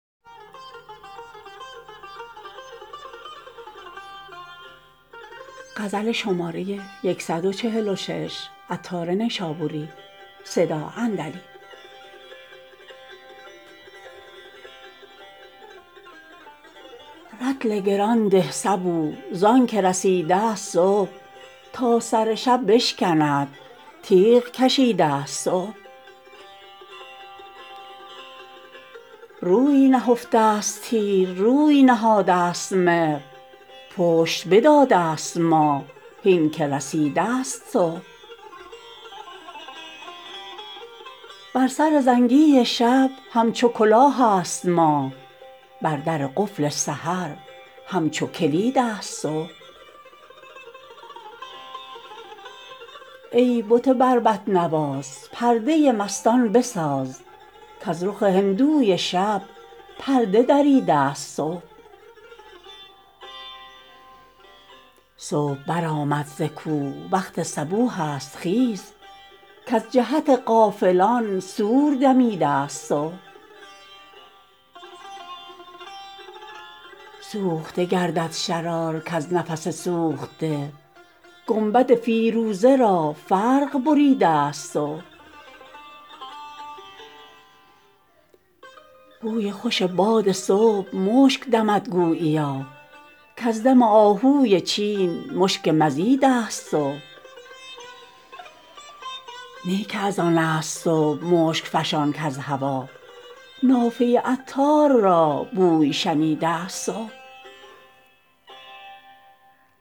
رطل گران ده صبوح زانکه رسیده است صبح تا سر شب بشکند تیغ کشیده است صبح روی نهفته است تیر روی نهاده است مهر پشت بداده است ماه هین که رسیده است صبح بر سر زنگی شب همچو کلاه است ماه بر در قفل سحر همچو کلید است صبح ای بت بربط نواز پرده مستان بساز کز رخ هندوی شب پرده دریده است صبح صبح برآمد زکوه وقت صبوح است خیز کز جهت غافلان صور دمیده است صبح سوخته گردد شرار کز نفس سوخته گنبد فیروزه را فرق بریده است صبح بوی خوش باد صبح مشک دمد گوییا کز دم آهوی چین مشک مزید است صبح نی که از آن است صبح مشک فشان کز هوا نافه عطار را بوی شنیده است صبح